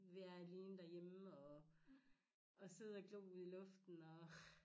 Være alene derhjemme og og sidde og glo ud i luften og